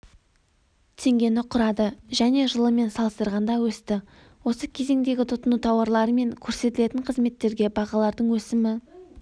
теңгені құрады және жылмен салыстырғанда өсті осы кезеңдегі тұтыну тауарлары мен көрсетілетін қызметтерге бағалардың өсімі